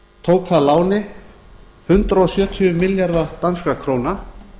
tók að láni hundrað sjötíu milljarða danskra króna